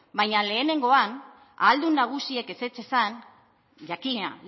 baina lehenengoan ahaldun nagusiek ezetz esan jakina